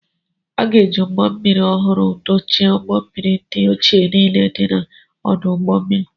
A ga-eji ụgbọ mmiri ọhụrụ dochie ụgbọ mmiri ndị ochie niile dị n'ọdụ ụgbọ mmiri.